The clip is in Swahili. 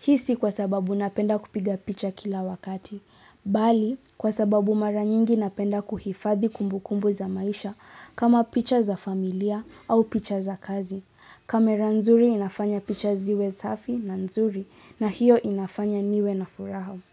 Hii si kwa sababu napenda kupiga picha kila wakati. Bali, kwa sababu maranyingi napenda kuhifadhi kumbukumbu za maisha kama picha za familia au picha za kazi. Kamera nzuri inafanya picha ziwe safi na nzuri na hiyo inafanya niwe na furaha.